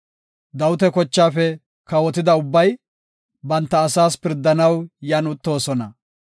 Dawita kochaafe kawotida ubbay, banta asaas pirdanaw yan uttoosona.